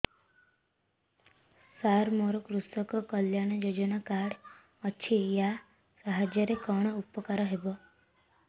ସାର ମୋର କୃଷକ କଲ୍ୟାଣ ଯୋଜନା କାର୍ଡ ଅଛି ୟା ସାହାଯ୍ୟ ରେ କଣ ଉପକାର ହେବ